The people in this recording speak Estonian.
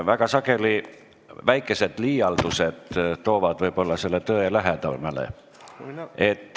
Väga sageli toovad väikesed liialdused võib-olla tõe lähemale.